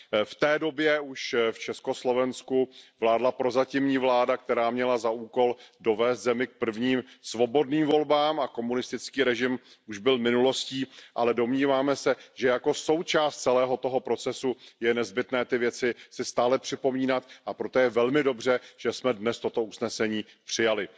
V té době už v Československu vládla prozatímní vláda, která měla za úkol dovést zemi k prvním svobodným volbám, a komunistický režim už byl minulostí, ale domníváme se, že jako součást celého toho procesu je nezbytné ty věci si stále připomínat, a proto je velmi dobře, že jsme dnes toto usnesení přijali.